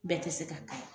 Bɛɛ tɛ se ka kala